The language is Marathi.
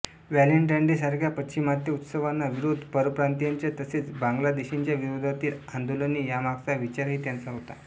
व्हॅलेंटाईन डे सारख्या पाश्चिमात्य उत्सवांना विरोध परप्रांतीयांच्या तसेच बांगलादेशींच्या विरोधातील आंदोलने यांमागचा विचारही त्यांचा होता